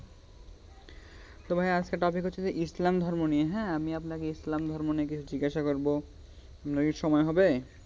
তো ভাইয়া আজকের topic হচ্ছে যে ইসলাম ধর্ম নিয়ে হ্যাঁ, আপনাকে ইসলাম ধর্ম নিয়ে কিছু জিজ্ঞাসা করব, আপনার কি সময় হবে?